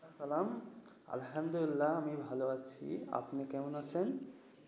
আসসালাম আলহামদুলিল্লাহ, আমি ভালো আছি। আপনি কেমন আছেন?